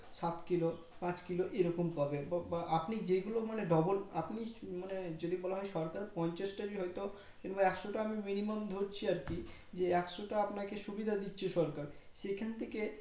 সাত কিলো পাঁচ কিলো এইরকম পাবে বা আপনি যেগুলো মানে double আপনি মানে যদি বলা হয় সরকার পঞ্চাশটা হয় তো কিংবা একশোটা হয় তো আমি মিনিমাম ধরছি আর কি যে একশোটা আপনাকে সুবিধা দিচ্ছে সরকার সেখান থেকে